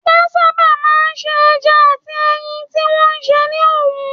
Wọ́n sábà máa ń se ẹja àti ẹyin tí wọ́n sè ní òwú